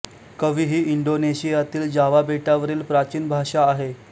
कवी ही इंडोनेशियातील जावा बेटावरील प्राचीन भाषा आहे